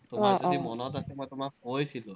মই তোমাক কৈছিলো।